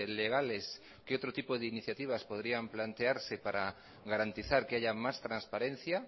legales qué otro tipo de iniciativas podrían plantearse para garantizar que haya más transparencia